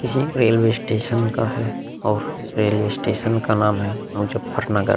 ये railway station का है और रेलवे स्टेशन का नाम है मुजफ्फरनगर।